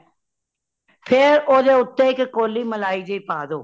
ਫੇਰ ਓਦੇ ਉਤੇ ਇਕ ਕੋਲੀ ਮਲਾਈ ਦੀ ਪਾ ਦਯੋ